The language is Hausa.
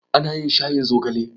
Ana yin shayin zogale.